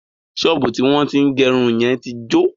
Ṣọ́ọ̀bú tí wọ́n tín gẹrun yẹn tí jọ.